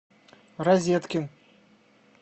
розеткин